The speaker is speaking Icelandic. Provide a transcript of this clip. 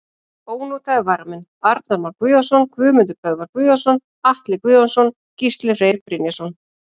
Ónotaðir varamenn: Arnar Már Guðjónsson, Guðmundur Böðvar Guðjónsson, Atli Guðjónsson, Gísli Freyr Brynjarsson.